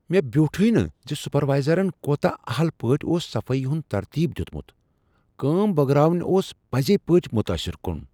مےٚ بیوٹھوے نہٕ زِ سُپروائزرن كوتاہ اہل پٲٹھۍ اوس صفٲیی ہُند ترتیب دیتمُت ! كٲم بٲگراوٕنۍ اوس پزی پٲٹھۍ متٲثر کُن ۔